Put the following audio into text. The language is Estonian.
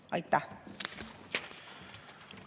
Aitäh!